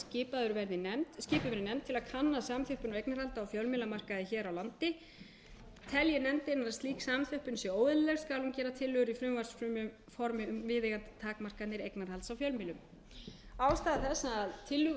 í ákvæði fjórar til bráðabirgða að skipuð verði nefnd til að kanna samþjöppun á eignarhaldi á fjölmiðlamarkaði hér á landi telji nefndin að ólík samþjöppun sé óeðlileg skal hún gera tillögur í frumvarpsformi um viðeigandi takmarkanir eignarhalds á fjölmiðlum ástæður þess að tillögur þverpólitísku nefndarinnar frá tvö þúsund og fjögur voru ekki